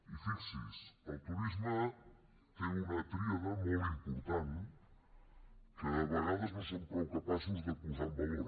i fixis’hi el turisme té una tríada molt important que a vegades no som prou capaços de posar en valor